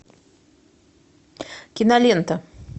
кинолента